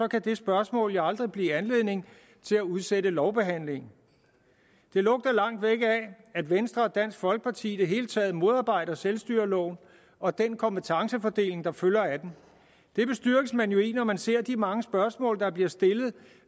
kan det spørgsmål aldrig give anledning til at udsætte lovbehandlingen det lugter langt væk af at venstre og dansk folkeparti i det hele taget modarbejder selvstyreloven og den kompetencefordeling der følger af den det bestyrkes man jo i når man ser de mange spørgsmål der bliver stillet